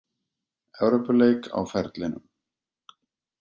Evrópuleik á ferlinum.